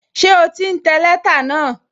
Ṣé o ti ń tẹ lẹ́tà náà?